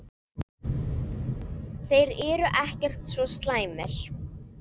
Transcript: Þeir eru ekkert svo slæmir.